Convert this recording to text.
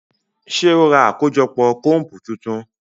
Ṣe o rá akojọpọ combu tuntun?